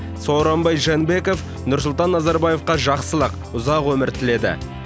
сооронбай жээнбеков нұрсұлтан назарбаевқа жақсылық ұзақ өмір тіледі